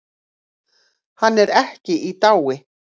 Hann er ekki í dái.